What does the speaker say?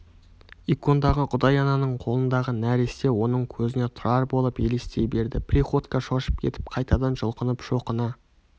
икондағы құдай-ананың қолындағы нәресте оның көзіне тұрар болып елестей берді приходько шошып кетіп қайтадан жұлқынып шоқына